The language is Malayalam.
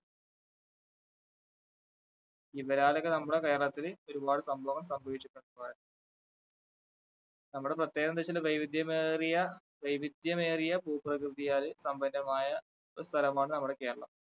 കേരളത്തില് ഒരുപാട് സംഭവം സംഭവിച്ചിട്ടുണ്ട് എന്ന് പറയാം നമ്മുടെ പ്രത്യേകത എന്താന്നു വച്ചാൽ വൈവിധ്യമേറിയ വൈവിധ്യമേറിയ ഭൂപ്രകൃതിയാൽ സമ്പന്നമായ ഒരു സ്ഥലമാണ് നമ്മുടെ കേരളം.